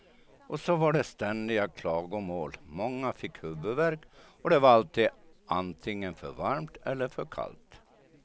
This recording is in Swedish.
Och så var det ständiga klagomål, många fick huvudvärk och det var alltid antingen för varmt eller för kallt.